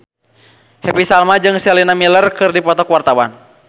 Happy Salma jeung Sienna Miller keur dipoto ku wartawan